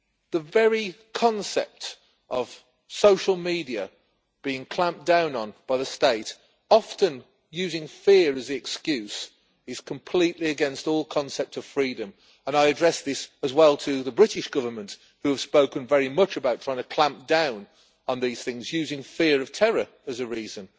The very concept of social media being clamped down on by the state often using fear as the excuse is completely against all concept of freedom, and I address this as well to the British Government, who have spoken very much about trying to clamp down on these things, using fear of terror as a reason.